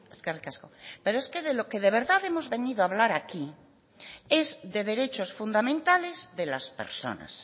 eskerrik asko pero es que de lo que de verdad hemos venido a hablar aquí es de derechos fundamentales de las personas